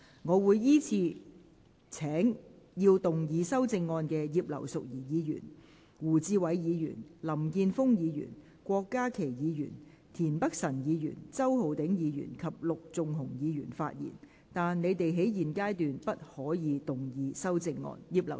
我會依次請要動議修正案的葉劉淑儀議員、胡志偉議員、林健鋒議員、郭家麒議員、田北辰議員、周浩鼎議員及陸頌雄議員發言；但他們在現階段不可動議修正案。